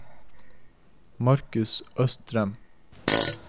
Markus Østrem